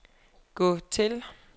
gå til